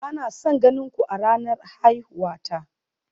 Ba na son ganin ku a ranar haihuwa ta